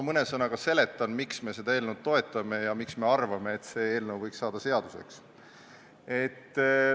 Ma selgitan mõne sõnaga, miks me seda toetame ja miks me arvame, et see eelnõu võiks saada seaduseks.